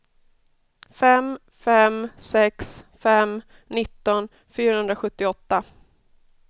fem fem sex fem nitton fyrahundrasjuttioåtta